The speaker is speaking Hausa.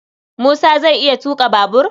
Musa zai iya tuƙa babur?